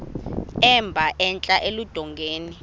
emba entla eludongeni